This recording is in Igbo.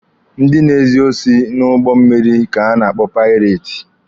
Ndị na-ezu osi n'ụgbọ mmịrị ka a na-akpọ paireti.